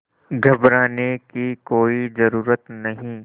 घबराने की कोई ज़रूरत नहीं